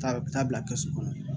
Taa bila kɛsu kɔnɔ